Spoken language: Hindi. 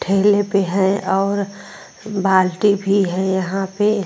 ठेले पे है और बाल्टी भी है यहां पे ।